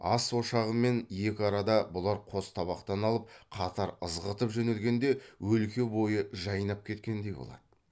ас ошағымен екі арада бұлар қос табақтан алып қатар ызғытып жөнелгенде өлке бойы жайнап кеткендей болады